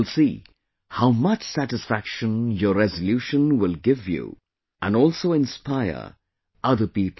You will see, how much satisfaction your resolution will give you, and also inspire other people